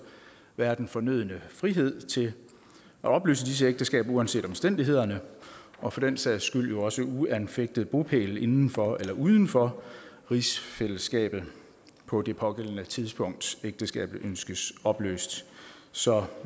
være den fornødne frihed til at opløse disse ægteskaber uanset omstændighederne og for den sags skyld også uanset om har bopæl inden for eller uden for rigsfællesskabet på det pågældende tidspunkt ægteskabet ønskes opløst så